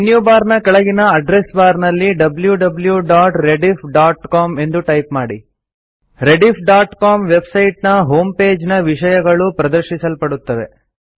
ಮೆನ್ಯುಬಾರ್ನ ಕೆಳಗಿನ ಅಡ್ರೆಸ್ಬಾರ್ನಲ್ಲಿ wwwrediffcom ಎಂದು ಟೈಪ್ ಮಾಡಿ rediffಸಿಒಎಂ ವೆಬ್ಸೈಟ್ ನ ಹೋಂಪೇಜ್ನ ವಿಷಯಗಳು ಪ್ರದರ್ಶಿಸಲ್ಪಡುತ್ತವೆ